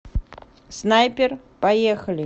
снайпер поехали